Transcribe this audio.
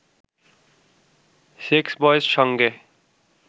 সেক্সবয়ের সঙ্গে